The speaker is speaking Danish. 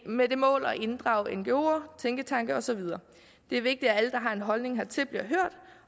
med det mål at inddrage ngoer tænketanke og så videre det er vigtigt at alle der har en holdning hertil bliver hørt